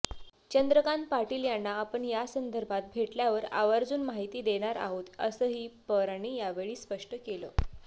चंद्रकांत पाटील यांना आपण यासंदर्भात भेटल्यावर आवर्जून माहिती देणार आहोत असंही पवारांनी यावेळी स्पष्ट केलं